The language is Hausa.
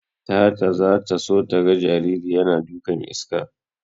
Tata zata so taga jariri yana dukan iska.